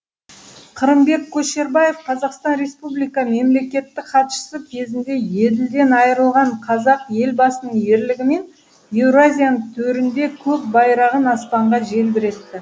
қырымбек көшербаев қазақстан республика мемлекеттік хатшысы кезінде еділден айырылған қазақ елбасының ерлігімен еуразияның төрінде көк байрағын аспанға желбіретті